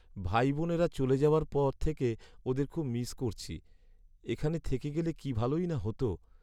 ভাইবোনরা চলে যাওয়ার পর থেকে ওদের খুব মিস করছি। এখানে থেকে গেলে কি ভালোই না হতো।